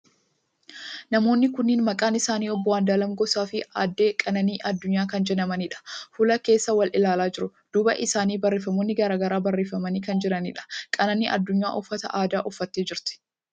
Namoonni kunniin maqaan isaanii obbo Andu'aalam Gosaa fi aadde Qananii Addunyaa kan jedhamaniidha. Fuula keessa wal ilaalaa jiru. Duuba isaanii barreeffamoonni garagaraa barreeffamanii kan jiraniidha. Qananii Addunyaa uffata aadaa uffattee jirti.